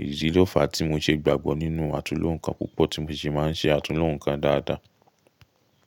Èyí ló fa tí mo ṣe gbàgbọ́ nínú àtúnloǹkan púpọ̀, tí mo sì máa ń ṣe àtúnloǹkan dáadáa.